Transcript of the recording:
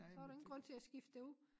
Så var der ingen grund til at skifte det ud